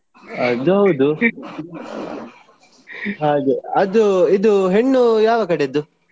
ಅದೌದು ಹಾಗೆ ಅದು ಇದು ಹೆಣ್ಣು ಯಾವ ಕಡೆಯದ್ದು?